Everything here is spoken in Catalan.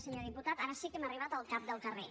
senyor diputat ara sí que hem arribat al cap del carrer